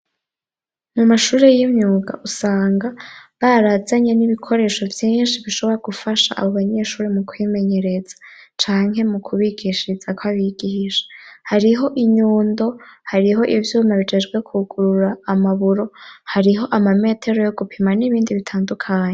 Mu mashuri yimyuga usanga barazanye nibikoresho vyinshi bishobora no gufasha abo banyeshure mu kwimenyereza canke mu kubigishiriza kwabigisha, hariho inyundo, hariho ivyuma bijejwe kugurura amaburo hariho amametero yo gupima n'ibindi bitandukanye.